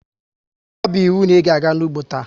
Ọ bu íwú na ịga-aga n'ugbo taa!